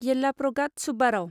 Yellapragada Subbarao